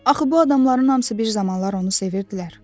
Axı bu adamların hamısı bir zamanlar onu sevirdilər.